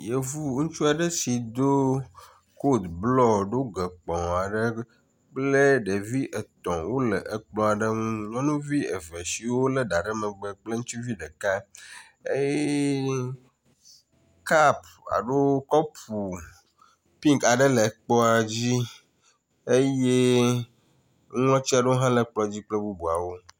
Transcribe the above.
Yevu ŋutsu aɖe si ɖo kot blƒ ɖoge kpɔ aɖe kple ɖevi etɔ̃ wo le ekplɔ ae ŋu. nyɔnuvi eve siwo le ɖa ɖe megbe kple ŋutsuvi ɖeka eye kapa lo kɔpu pinki aɖe le kplɔa dzi eye watsi aɖewo hã le kplɔ dzi kple bubuawo.